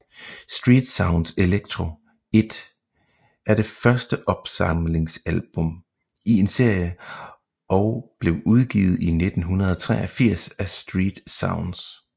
Street Sounds Electro 1 er det første opsamlingsalbum i en serie og blev udgivet i 1983 af StreetSounds